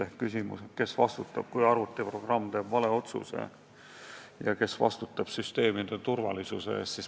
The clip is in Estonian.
On ju küsimus, kes vastutab, kui arvutiprogramm teeb valeotsuse, ja kes vastutab süsteemide turvalisuse eest.